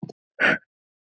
Þagði um stund.